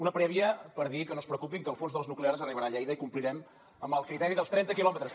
una prèvia per dir que no es preocupin que el fons de les nuclears arribarà a lleida i complirem amb el criteri dels trenta quilòmetres